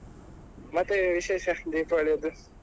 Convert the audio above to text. ಮತ್ತೇ ವಿಶೇಷ ದೀಪಾವಳಿಯದ್ದು?